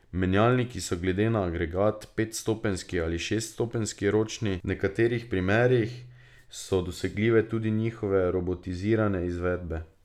Menjalniki so glede na agregat petstopenjski ali šeststopenjski ročni, v nekaterih primerih so dosegljive tudi njihove robotizirane izvedbe.